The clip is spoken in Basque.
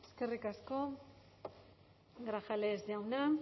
eskerrik asko grajales jauna